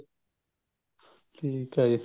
ਠੀਕ ਐ ਜੀ